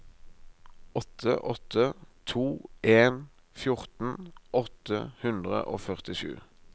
åtte åtte to en fjorten åtte hundre og førtisju